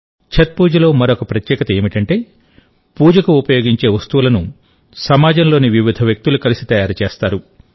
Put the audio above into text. ఛత్ పూజలో మరో ప్రత్యేకత ఏమిటంటే పూజకు ఉపయోగించే వస్తువులను సమాజంలోని వివిధ వ్యక్తులు కలిసి తయారుచేస్తారు